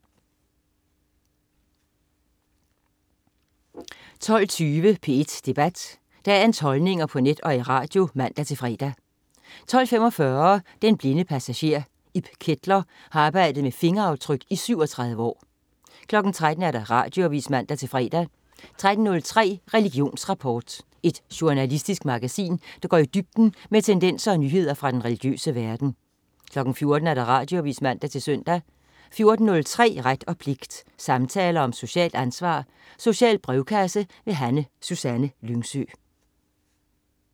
12.20 P1 Debat. Dagens holdninger på net og i radio (man-fre) 12.45 Den blinde passager. Ib Ketler har arbejdet med fingeraftryk i 37 år 13.00 Radioavis (man-fre) 13.03 Religionsrapport. Et journalistisk magasin, der går i dybden med tendenser og nyheder fra den religiøse verden 14.00 Radioavis (man-søn) 14.03 Ret og pligt. Samtaler om socialt ansvar. Social brevkasse. Susanne Lyngsø